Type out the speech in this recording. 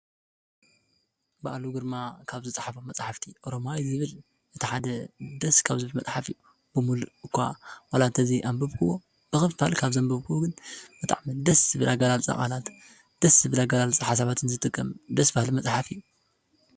ብኣሉ ግርማ ካብ ዝፀሓፈም መፃሕፍቲ ኦሮማይ ዝብል እታ ሓደ ደስ ካብ ዙብ መፅሓፍ እዩ ብምሉእ እኳ ዋላእንተዘይ ኣንበብክዎ ብኽፋል ካብ ዘንበብክዎ ግን በጣዕሚ ደስ ብላጋላል ብቓላት ደስ ብላጋላል ሓሳባትን ዝጥቀም ደስ ባሃሊ መጽሓፍ እዩ።